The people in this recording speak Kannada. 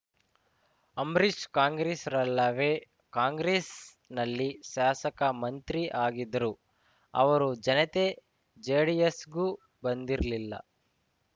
ಅಂಬರೀಷ್‌ ಕಾಂಗ್ರೆಸ್ಸಿರಲ್ಲವೇ ಕಾಂಗ್ರೆಸ್‌ನಲ್ಲಿ ಶಾಸಕ ಮಂತ್ರಿ ಆಗಿದ್ರು ಅವರು ಜಯತೆ ಜೆಡಿಎಸ್‌ಗೂ ಬಂದಿರಲಿಲ್ಲ